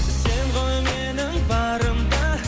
сен ғой менің барым да